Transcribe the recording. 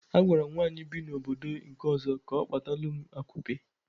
Agwaram nwaanyị bi na obodo nke ọzọ, ka ọ kpatalum akupe